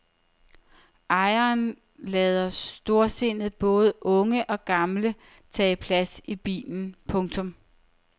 Ejeren lader storsindet både unge og gamle tage plads i bilen. punktum